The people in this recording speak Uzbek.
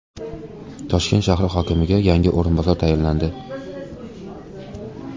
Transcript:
Toshkent shahri hokimiga yangi o‘rinbosar tayinlandi.